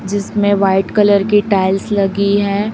जिसमें white colour की tiles लगी है।